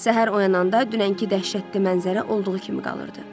Səhər oyananda dünənki dəhşətli mənzərə olduğu kimi qalırdı.